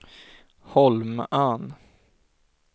Holmön